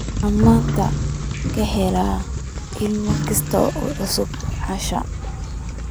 waxaan maanta ka heli lahaa iimayl kasta oo cusub asha